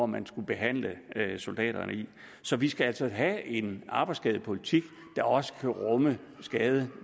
man skulle behandle soldaterne i så vi skal altså have en arbejdsskadepolitik der også kan rumme skadede